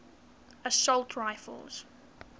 assault rifles